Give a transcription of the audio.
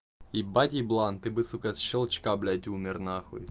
ебать еблан ты бы сука от щелчка блять умер нахуй